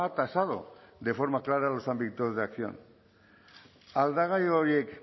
tasado de forma clara los ámbitos de acción aldagai horiek